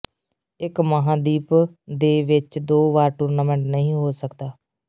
ਇੱਕ ਮਹਾਂਦੀਪ ਦੇ ਵਿੱਚ ਦੋ ਵਾਰ ਟੂਰਨਾਮੈਂਟ ਨਹੀ ਹੋ ਸਕਦਾ